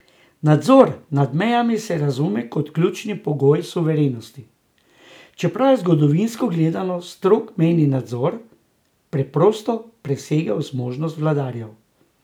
Nadzor nad mejami se razume kot ključni pogoj suverenosti, čeprav je, zgodovinsko gledano, strog mejni nadzor preprosto presegal zmožnosti vladarjev.